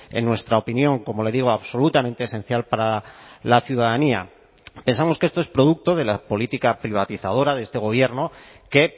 en nuestra opinión como le digo absolutamente esencial para la ciudadanía pensamos que esto es producto de la política privatizadora de este gobierno que